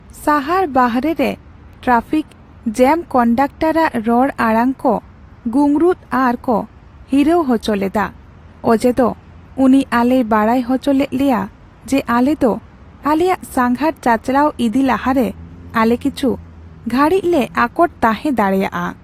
ᱥᱟᱦᱟᱨ ᱵᱟᱦᱨᱮ ᱨᱮ ᱴᱨᱟᱯᱷᱤᱠ ᱡᱮᱹᱢ ᱠᱚᱱᱰᱟᱠᱴᱟᱨ ᱟᱜ ᱨᱚᱲ ᱟᱲᱟᱝ ᱠᱚ ᱜᱩᱝᱨᱩᱛ ᱟᱨ ᱠᱚ ᱦᱤᱨᱟᱹᱣ ᱦᱚᱪᱚ ᱞᱮᱫᱟ ᱚᱡᱮᱫᱚ ᱩᱱᱤ ᱟᱞᱮᱭ ᱵᱟᱲᱟᱭ ᱦᱚᱪᱚ ᱞᱮᱫ ᱞᱮᱭᱟ ᱡᱮ ᱟᱞᱮᱫᱚ ᱟᱞᱮᱭᱟᱜ ᱥᱟᱸᱜᱷᱟᱨ ᱪᱟᱪᱟᱞᱟᱣ ᱤᱫᱤ ᱞᱟᱦᱟᱨᱮ ᱟᱞᱮ ᱠᱤᱪᱷᱩ ᱜᱷᱹᱲᱤᱡᱞᱮ ᱟᱠᱚᱴ ᱛᱟᱦᱮᱸ ᱫᱟᱲᱮᱭᱟᱜᱼᱟ ᱾